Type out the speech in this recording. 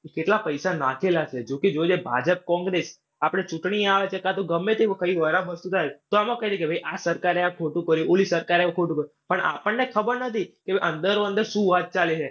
કેટલા પૈસા નાંખેલા છે. જોકે જો એ ભાજપ કોંગ્રેસ આપણે ચૂંટણી આવે કે કાં તો ગમે તેવું કઈ વસ્તુ થાય તો આ સરકારે ખોટું કર્યું. ઓલી સરકારે ખોટું કર્યું. પણ આપણને ખબર નથી કે અંદરો અંદર શું વાત ચાલે છે.